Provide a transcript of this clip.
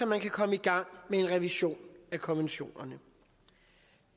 man kan komme i gang med en revision af konventionerne